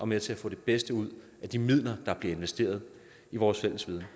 med til at få det bedste ud af de midler der bliver investeret i vores fælles viden